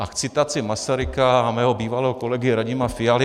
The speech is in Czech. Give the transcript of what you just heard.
A k citaci Masaryka a mého bývalého kolegy Radima Fialy.